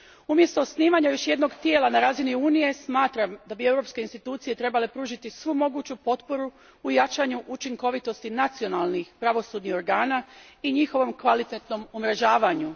Umjesto osnivanja još jednog tijela na razini Unije, smatram da bi europske institucije trebale pružiti svu moguću potporu u jačanju učinkovitosti nacionalnih pravosudnih organa i njihovom kvalitetnom umrežavanju.